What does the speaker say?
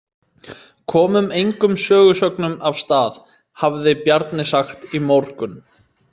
Komum engum sögusögnum af stað, hafði Bjarni sagt í morgun.